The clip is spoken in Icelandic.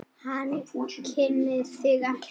Hún kunni það ekki.